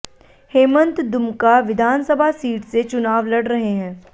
हेमंत दुमका विधानसभा सीट से चुनाव लड़ रहे हैं